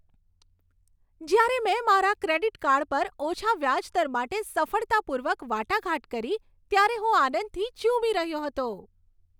જ્યારે મેં મારા ક્રેડિટ કાર્ડ પર ઓછા વ્યાજ દર માટે સફળતાપૂર્વક વાટાઘાટ કરી, ત્યારે હું આનંદથી ઝૂમી રહ્યો હતો.